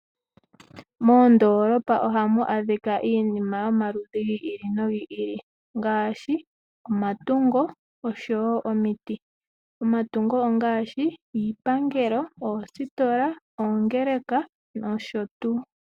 Moondoolopa oha mu adhika iinima yomaludhi gi ili nogi ili, ngaashi omatungo osho wo omiti. Omatungo ongaashi iipangelo, oositola, oongeleka nsh.